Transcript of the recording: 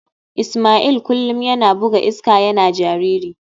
Ismail kullum yana buga iska yana jariri.